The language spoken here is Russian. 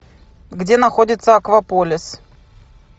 где находится акваполис